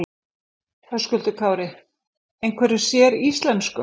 Höskuldur Kári: Einhverju séríslensku?